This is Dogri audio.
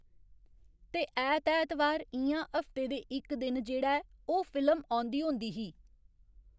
ते ऐत ऐतवार इ'यां हफ्ते दे इक दिन जेह्ड़ा ऐ ओह् फिल्म औंदी होंदी ही।